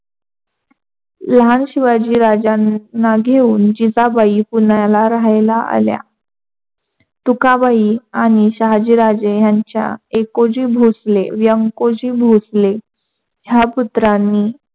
लहान शिवाजी राज्यांना घेऊन जिजाबाई पुण्याला राहायला आल्या. तुकाबाई आणि शहाजीराजे यांच्या एकोजी भोसले व्यंकोजी भोसले ह्या पुत्रांनी